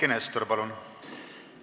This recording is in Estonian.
Eiki Nestor, palun!